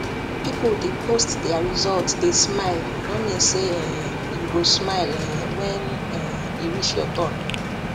people dey post their result dey smile no mean say um you go smile um wen um e reach your turn